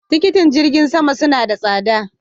Tikitin jirgin sama suna da tsada.